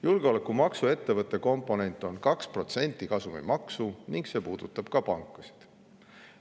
Julgeolekumaksu ettevõttekomponent on 2% kasumimaksu ning see puudutab ka pankasid.